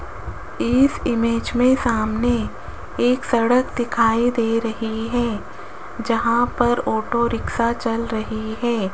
इस इमेज में सामने एक सड़क दिखाई दे रही है जहां पर ऑटो रिक्शा चल रही है।